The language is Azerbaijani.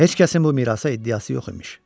Heç kəsin bu mirasa iddiası yox imiş.